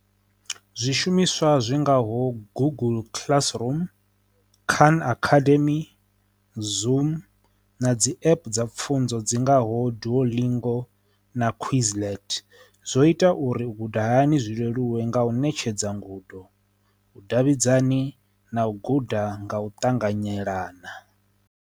Zwishumiswa zwi ngaho google classroom, kan akademi, zoom na dzi app dza pfunzo dzi ngaho doolingo na quizlent zwo ita uri u guda hani zwi leluwe nga u ṋetshedza ngudo u davhidzani na u guda nga u ṱanganyelana.